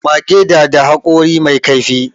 Mage da da haƙori mai kaifi